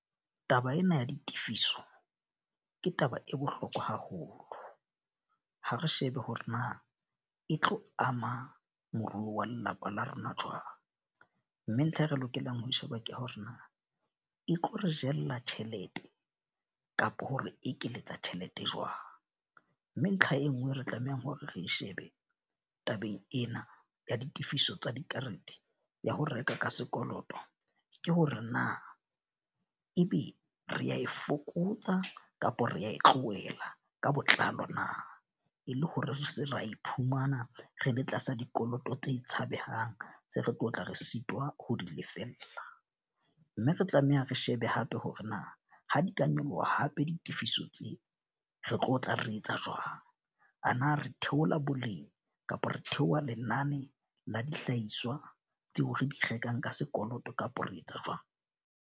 Taba ena ya ditifiso, ke taba e bohlokwa haholo. Ha re shebe hore na e tlo ama moruo wa lelapa la rona jwang. Mme ntlha e re lokelang ho e sheba ke hore na e tla re jella tjhelete kapo hore ekeletsa tjhelete jwang. Mme ntlha e nngwe re tlamehang hore re shebe tabeng ena ya ditefiso tsa dikarete, ya ho reka ka sekoloto. Ke hore na e be re a e fokotsa kapa re ya e tlohela ka botlalo na. E le hore re seke ra iphumana re le tlasa dikoloto tse tshabehang, tse re tlotla re sitwa ho di lefella. Mme re tlameha re shebe hape hore na ha di ka nyoloha hape ditefiso tseo re tlo tla re etsa jwang? A na re theola boleng kapa re theoha lenane la dihlahiswa tseo re di rekang ka sekoloto kapa re etsa jwang?